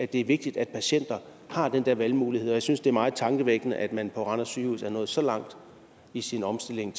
det er vigtigt at patienter har den der valgmulighed og jeg synes det er meget tankevækkende at man på randers sygehus er nået så langt i sin omstilling